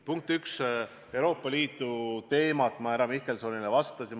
Punkt üks, Euroopa Liidu teemal ma härra Mihkelsonile vastasin.